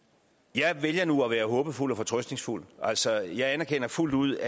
jeg vælger nu at være håbefuld og fortrøstningsfuld altså jeg erkender fuldt ud